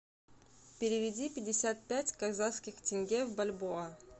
переведи пятьдесят пять казахских тенге в бальбоа